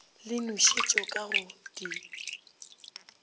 le nošetšo ka go di